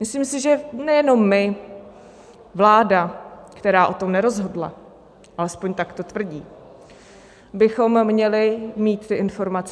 Myslím si, že nejenom my, vláda, která o tom nerozhodla, alespoň tak to tvrdí, bychom měli mít ty informace.